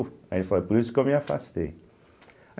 Aí ele falou, é por isso que eu me afastei.